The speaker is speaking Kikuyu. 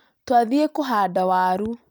Twathiĩ kũhanda waru